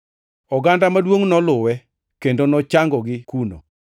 Oganda maduongʼ noluwe, kendo nochangogi kuno.